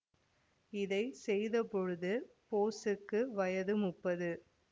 இதை செய்தபோது போசுக்கு வயது முப்பது